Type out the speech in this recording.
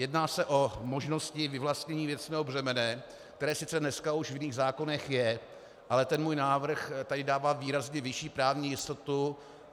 Jedná se o možnosti vyvlastnění věcného břemene, které sice dneska už v jiných zákonech je, ale ten můj návrh tady dává výrazně vyšší právní jistotu.